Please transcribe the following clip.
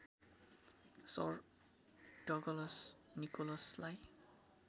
sir Douglas निकोलसलाई